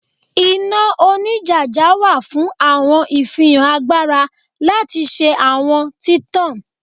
Ina onijaja wa fun awọn ifihan agbara lati ṣe awọn titan